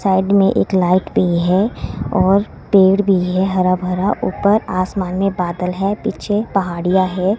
Side में एक light भी है और पेड़ भी है हरा भरा ऊपर आसमान में बादल हैं पीछे पहाड़िया हैं।